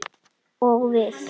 Og við?